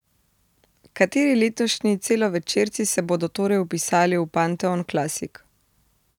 Kateri letošnji celovečerci se bodo torej vpisali v panteon klasik?